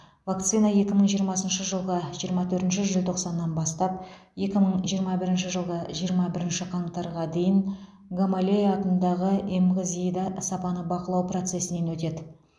вакцина екі мың жиырмасыншы жылғы жиырма төртінші желтоқсаннан бастап екі мың жиырмасыншы жылғы жиырма бірінші қаңтарға дейін гамалея атындағы эмғзи да сапаны бақылау процесінен өтеді